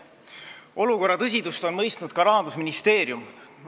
Olukorra tõsidust on mõistnud ka Rahandusministeerium.